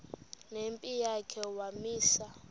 nempi yakhe wamisa